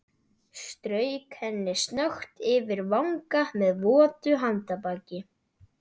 Strauk henni snöggt yfir vanga með votu handarbaki.